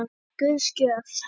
Það er Guðs gjöf.